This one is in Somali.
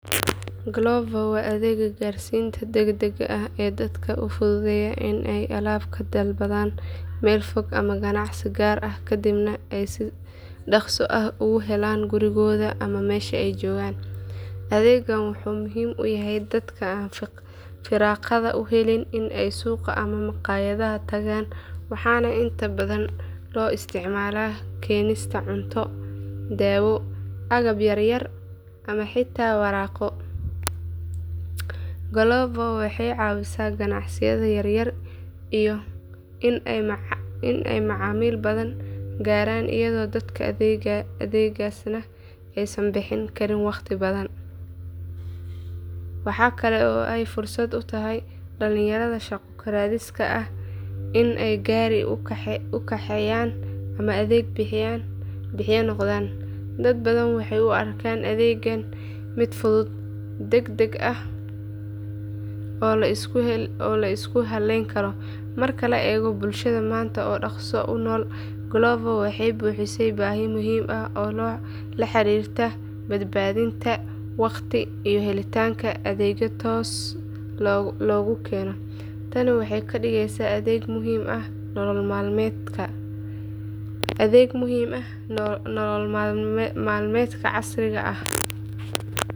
Glovo waa adeegga gaarsiinta degdegga ah ee dadka u fududeeya in ay alaab ka dalbadaan meel fog ama ganacsi gaar ah kadibna ay si dhakhso ah ugu helaan gurigooda ama meesha ay joogaan. Adeeggan wuxuu muhiim u yahay dadka aan firaaqada u helin in ay suuqa ama maqaayadda tagaan waxaana inta badan loo isticmaalaa keenista cunto, dawo, agab yar yar ama xitaa waraaqo. Glovo waxay caawisaa ganacsiyada yar yar in ay macaamiil badan gaaraan iyadoo dadka adeegsanaya aysan bixin karin waqti badan. Waxa kale oo ay fursad u tahay dhalinyarada shaqo raadiska ah in ay gaari u kaxeeyaan ama adeeg bixiye noqdaan. Dad badan waxay u arkaan adeeggan mid fudud, degdeg ah oo la isku halayn karo. Marka la eego bulshada maanta oo dhaqso u nool, glovo waxay buuxisaa baahi muhiim ah oo la xiriirta badbaadinta waqtiga iyo helitaanka adeegyo toos loogu keeno. Tani waxay ka dhigeysaa adeeg muhiim ah nolol maalmeedka casriga ah.